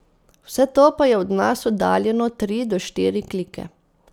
Vse to pa je od nas oddaljeno tri do štiri klike.